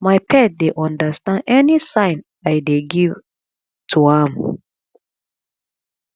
my pet dey understand any sign i dey give to am